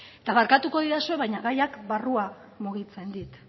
eta barkatuko didazue baina gaiak barrua mugitzen dit